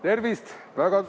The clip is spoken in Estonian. Tervist!